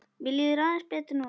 Mér líður aðeins betur núna.